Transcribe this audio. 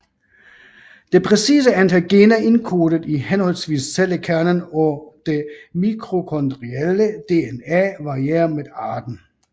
Det præcise antal gener indkodet i henholdsvis cellekernen og det mitokondrielle DNA varierer med arten